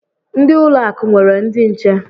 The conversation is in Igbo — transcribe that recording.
Ndị ụlọ akụ nwere ndị nche.